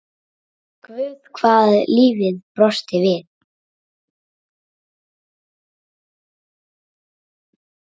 Guð hvað lífið brosti við.